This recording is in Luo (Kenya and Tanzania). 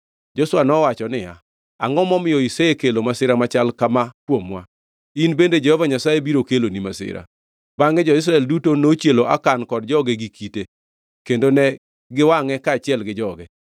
Joshua nowacho niya, “Angʼo momiyo isekelo masira machal kama kuomwa? In bende Jehova Nyasaye biro keloni masira.” Bangʼe jo-Israel duto nochielo Akan kod joge gi kite, kendo ne giwangʼe kaachiel gi joge.